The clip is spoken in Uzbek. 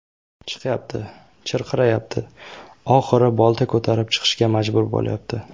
Chiqyapti, chirqirayapti, oxiri bolta ko‘tarib chiqishga majbur bo‘lyapti.